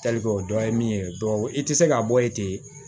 o dɔ ye min ye i tɛ se k'a bɔ yen ten